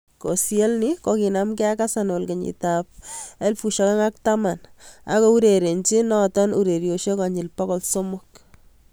Koscielny Kokinam ge ak Arsenal kenyit ab 2010 ako urerechin noto ureresiek konyil 300.